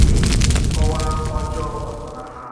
n’ihi nkọwa ọjọọ gbasara ha.